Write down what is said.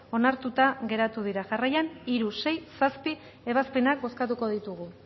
onartuta geratu dira jarraian hiru sei eta zazpi ebazpenak bozkatuko ditugu